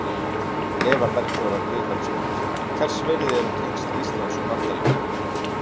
Eva Bergþóra Guðbergsdóttir: Hvers virði eru tengsl Íslands og Bandaríkjanna?